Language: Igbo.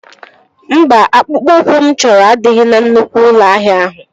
Mba, akpụkpọ ụkwụ mụ chọrọ adịghị na nnukwu ụlọ ahịa ahụ